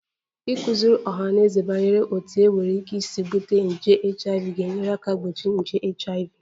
Ịkụziri ọha na eze banyere otú e nwere ike isi bute nje HIV ga-enyere aka gbochie nje HIV